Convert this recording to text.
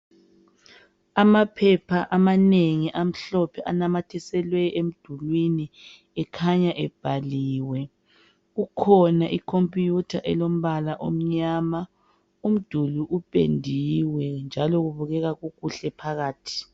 Amaphepha amanengi amhlophe anamathiselwe emdulwini ekhanya ebhaliwe. Kukhona ikhompiyutha elombala omnyama. Umduli upendiwe njalo kubukeka kukuhle phakathi.